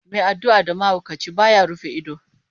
Mai addu'a da mahaukaci, ba ya rufe ido.